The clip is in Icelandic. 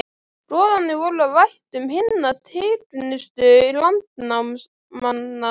Goðarnir voru af ættum hinna tignustu landnámsmanna.